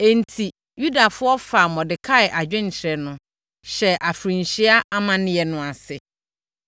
Enti, Yudafoɔ no faa Mordekai adwenkyerɛ no, hyɛɛ afirinhyia amanneɛ no ase.